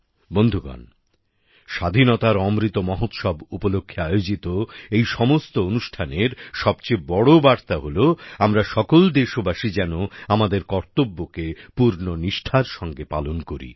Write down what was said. বন্ধুগণ স্বাধীনতার অমৃত মহোৎসব উপলক্ষে আয়োজিত এই সমস্ত অনুষ্ঠানের সবচেয়ে বড় বার্তা হল আমরা সকল দেশবাসী যেন আমাদের কর্তব্যকে পূর্ণ নিষ্ঠার সঙ্গে পালন করি